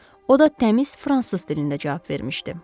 O da təmiz fransız dilində cavab vermişdi.